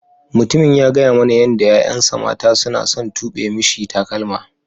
Mutumin ya gaya mana yadda yayan sa mata suna son tube misi takalma.